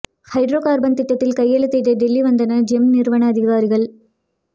hydro carbon திட்டத்தில் கையெழுத்திட டெல்லி வந்தனர் ஜெம் நிறுவன அதிகாரிகள்